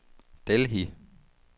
Delhi